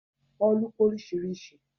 Òòlù pé oríṣìíríṣìí